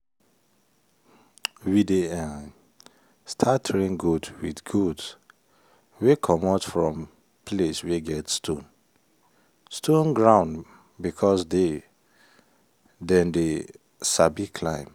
we dey um start train goat with goats wey comot from place wey get stone-stone ground because the dem dey sabi climb